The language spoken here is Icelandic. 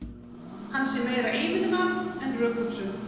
Hann sé meira ímyndunarafl en rökhugsun